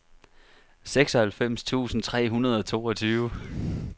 seksoghalvfems tusind tre hundrede og toogtyve